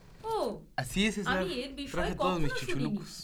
ওহ, আমি এর বিষয়ে কখনো শুনিনি।